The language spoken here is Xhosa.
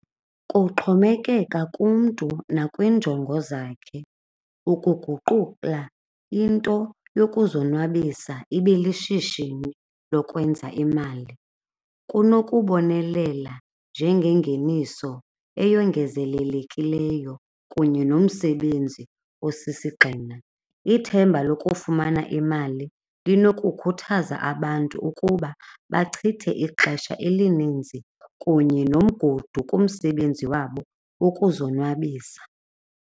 Kuxhomekeka kumntu nakwiinjongo zakhe ukuguqula into yokuzonwabisa ibe lishishini lokwenza imali, kunokubonelela njengengeniso eyongezelelekileyo kunye nomsebenzi okusisigxina. Ithemba lokufumana imali linokukhuthaza abantu ukuba bachithe ixesha elininzi kunye nomgudu kumsebenzi wabo ukuzonwabisa.